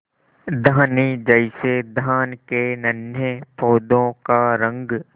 धानी जैसे धान के नन्हे पौधों का रंग